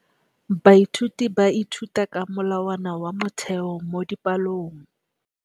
Baithuti ba ithuta ka molawana wa motheo mo dipalong.